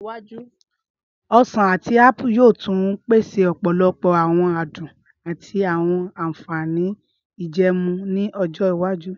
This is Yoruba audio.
Ọsan ati apu yoo tun pese ọpọlọpọ awọn adun ati awọn anfani ijẹẹmu ni ọjọ iwaju.